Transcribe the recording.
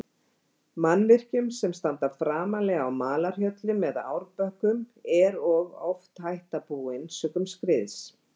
Mannvirkjum sem standa framarlega á malarhjöllum eða árbökkum, er og oft hætta búin sökum skriðs.